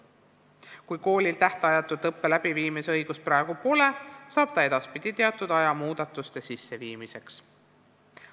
Kui koolil tähtajatu õppe läbiviimise õigust praegu pole, saab ta teatud aja muudatuste tegemiseks.